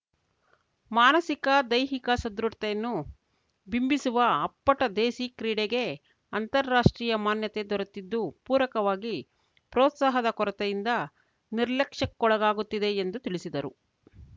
ಮಾನಸಿಕ ದೈಹಿಕ ಸದೃಢತೆಯನ್ನು ಬಿಂಬಿಸುವ ಅಪ್ಪಟ ದೇಸೀ ಕ್ರೀಡೆಗೆ ಅಂತಾರಾಷ್ಟ್ರೀಯ ಮಾನ್ಯತೆ ದೊರೆತಿದ್ದು ಪೂರಕವಾಗಿ ಪ್ರೋತ್ಸಾಹದ ಕೊರತೆಯಿಂದ ನಿರ್ಲಕ್ಷಕ್ಕೊಳಗಾಗುತ್ತಿದೆ ಎಂದು ತಿಳಿಸಿದರು